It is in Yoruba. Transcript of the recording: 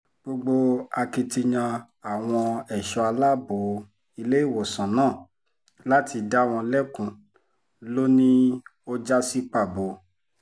gbogbo akitiyan àwọn ẹ̀ṣọ́ aláàbọ̀ ilé-ìwòsàn náà láti dá wọn lẹ́kun ló ní ó já sí pàbó